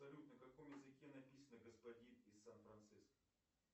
салют на каком языке написано господин из сан франциско